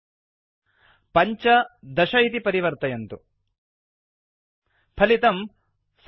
5 पञ्च 10दश इति परिवर्तयन्तु फलितं 75 सप्त